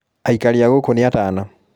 aikari a gũkũ nĩatana